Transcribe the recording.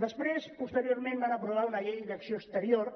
després posteriorment van aprovar una llei d’acció exterior